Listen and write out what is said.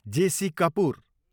JC. Kapoor